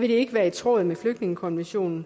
vil ikke være i tråd med flygtningekonventionen